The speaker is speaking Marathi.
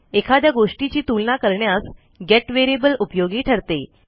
एखाद्या गोष्टीची तुलना करण्यास गेट व्हेरिएबल उपयोगी ठरते